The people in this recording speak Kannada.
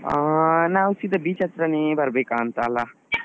ಅಹ್ ನಾವ್ ಸೀದಾ beach ಹತ್ರನೇ ಬರ್ಬೇಕಾಂತ ಅಲ ?